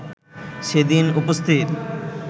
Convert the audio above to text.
সেদিন উপস্থিত